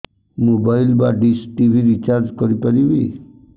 mobile ବା dish TV recharge କରି ପାରିବି